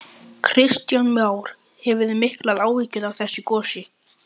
Kristján Már: Hefurðu miklar áhyggjur af þessu gosi?